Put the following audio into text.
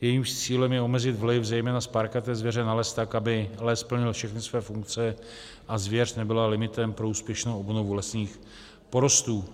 jejímž cílem je omezit vliv zejména spárkaté zvěře na les tak, aby les plnil všechny své funkce a zvěř nebyla limitem pro úspěšnou obnovu lesních porostů.